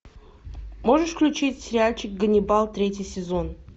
можешь включить сериальчик ганнибал третий сезон